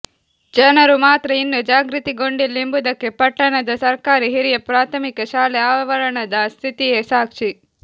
ಜನರು ಮಾತ್ರ ಇನ್ನು ಜಾಗೃತಿಗೊಂಡಿಲ್ಲ ಎಂಬುದಕ್ಕೆ ಪಟ್ಟಣದ ಸರ್ಕಾರಿ ಹಿರಿಯ ಪ್ರಾಥಮಿಕ ಶಾಲೆ ಆವರಣದ ಸ್ಥಿತಿಯೇ ಸಾಕ್ಷಿ